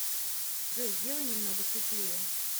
джой сделай немного светлее